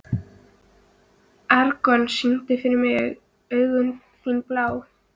Eragon, syngdu fyrir mig „Augun þín blá“.